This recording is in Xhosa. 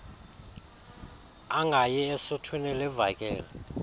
angayi esuthwini livakele